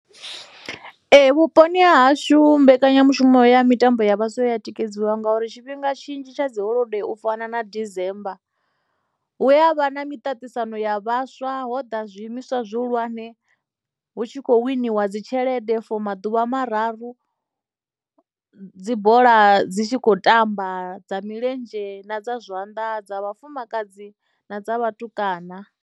Ee vhuponi ha hashu mbekanyamushumo ya mitambo ya vhaswa ya tikedziwa nga uri tshifhinga tshinzhi tsha dzi holodei u fana na december hu avha na miṱaṱisano ya vhaswa ho ḓa zwiimiswa zwi hulwanzhe hu tshi kho winiwa dzi tshelede for maḓuvha mararu dzi bola dzi tshi khou tamba dza milenzhe na dza zwanḓa dza vhafumakadzi na dza vhatukana.